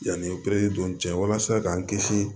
Yanni o dun cɛ walasa k'an kisi